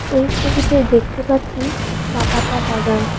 এই ছবিতে দেখতে পাচ্ছি চাপাতা বাগান।